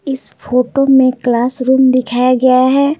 इस फोटो में क्लासरूम दिखाया गया है।